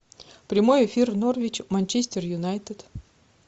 прямой эфир норвич манчестер юнайтед